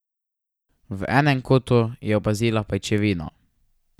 V enem kotu je opazila pajčevino.